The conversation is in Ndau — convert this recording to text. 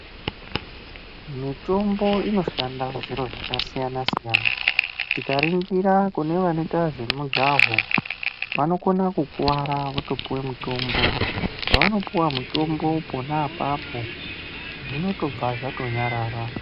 Mitombo inoshanda zviro zvaka siyana siyana tika ningira vanoita zve mujaho vanokona kukwara voto puwa mutombo pavano puwa mutombo pona apapo zvinotobva zvato nyarara.